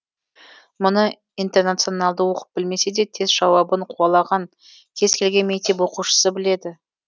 мұны интеранционалды оқып білмесе де тест жауабын қуалаған кез келген мектеп оқушысы біледі